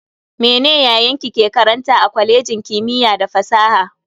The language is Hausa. Mene yayanki ke karanta a kwalejin kimiyya da fasaha?